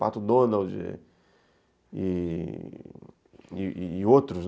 Pato Donald e e e outros, né.